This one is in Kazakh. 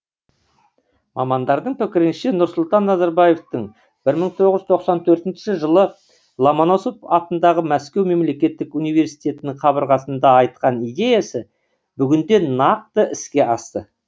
мамандардың пікірінше нұрсұлтан назарбаевтың бір мың тоғыз жүз тоқсан төртінші жылы ломоносов атындағы мәскеу мемлекеттік униерситетінің қабырғасында айтқан идеясы бүгінде нақты іске асты